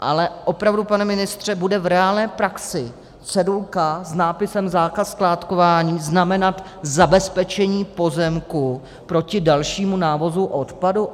Ale opravdu, pane ministře, bude v reálné praxi cedulka s nápisem Zákaz skládkování znamenat zabezpečení pozemku proti dalšímu návozu odpadu?